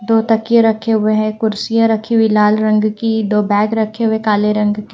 दो तकिए रखे हुए हैं कुर्सियां रखी हुई लाल रंग की दो बैग रखे हुए काले रंग के --